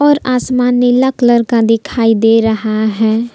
और आसमान नीला कलर का दिखाई दे रहा है।